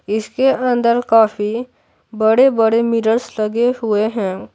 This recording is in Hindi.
इसके अंदर काफी बड़े-बड़े मिरर्स लगे हुए हैं।